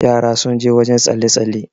yara sun je wajen tsalle- tsalle